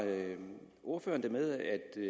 ordføreren det med